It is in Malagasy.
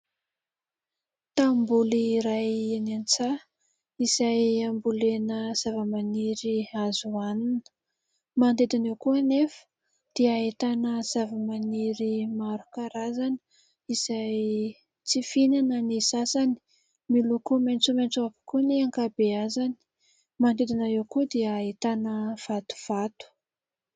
Tanimboly iray any an-tsaha izay ambolena zava-maniry azo ho hanina ; manodidina eo koa anefa dia ahitana zava-maniry maro karazana izay tsy fihinana ny sasany ; miloko maitsomaitso avokoa ny ankabeazany. Manodidina eo koa dia ahitana vatovato.